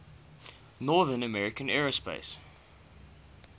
north american aerospace